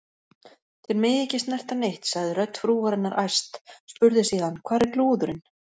Þér megið ekki snerta neitt, sagði rödd frúarinnar æst, spurði síðan: Hvar er lúðurinn?